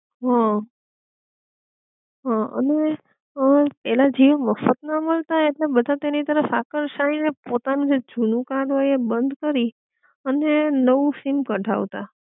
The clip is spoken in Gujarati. હઅ, હઅ અને અ પેલા જીઓ મફત માં મળતા, ઍટલે બધા તેની તરફ આકર્ષાય ને પોતાનું જે જૂનું કાર્ડ હોય એ બંધ કરી અને નવું સીમ કઢાવત,